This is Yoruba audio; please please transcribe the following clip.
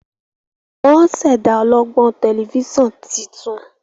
wón ṣẹda ọlọgbọn Tẹlifíṣàn títún.